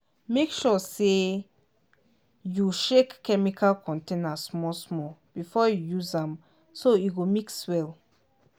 make sure say you shake chemical container small small before you use am so e go mix well.